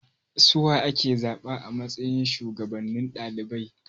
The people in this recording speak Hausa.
Suwa ake zaba a matsayin shuwagabannin ɗalibai?